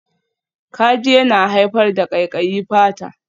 Kaji yana haifar da ƙaiƙayi fata.